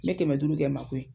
Me kɛmɛ duuru kɛ n mako ye.